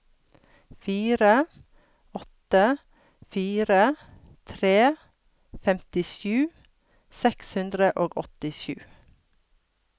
fire åtte fire tre femtisju seks hundre og åttisju